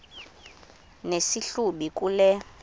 nesi hlubi kule